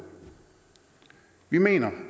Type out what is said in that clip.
vi mener